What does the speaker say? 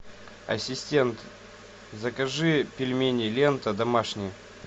ассистент закажи пельмени лента домашние